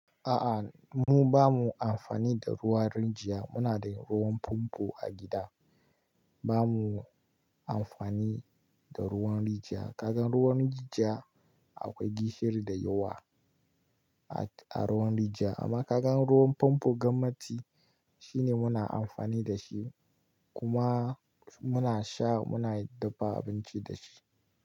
A'a, mu ba mu amfani da ruwan rijiya. Muna da ruwan famfo a gida. Ba mu amfani da ruwan rijiya. Kaga ruwan rijiya akwai gishiri da yawa a ruwan rijiya amma kaga ruwan famfo gwannati shine muna amfani da shi kuma muna sha muna dafa abinci da shi.